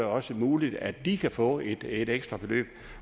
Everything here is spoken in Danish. også muligt at de kan få et ekstra beløb